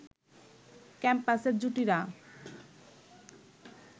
ক্যাম্পাসের জুটিরা